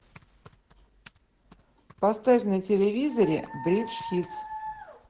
поставь на телевизоре бридж хитс